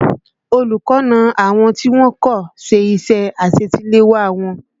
Olùkọ́ na àwọn tí wọ́n kò ṣe iṣẹ́ àṣetiléwá wọn